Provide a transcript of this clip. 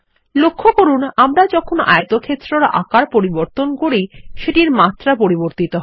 লক্ষ্য করুন আমরা যখন আয়তক্ষেত্রের আকার পরিবর্তন করি সেটির মাত্রা পরিবর্তিত হয়